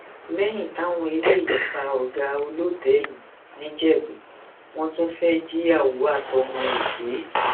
lẹyìn táwọn eléyìí pa ọgá olótẹẹlì nìjẹbù wọn tún fẹẹ jìyàwó àtọmọ ẹ gbé